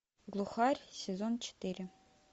глухарь сезон четыре